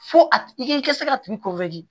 Fo a tigi i k'i ka se ka tigi